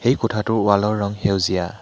এই কোঠাটোৰ ৱাল ৰ ৰং সেউজীয়া।